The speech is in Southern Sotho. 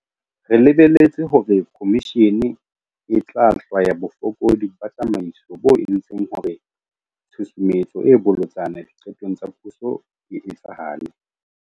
Re lebeletse hore khomishene e tla hlwaya bofokodi ba tsamaiso bo entseng hore tshusumetso e bolotsana diqetong tsa puso e etsahale.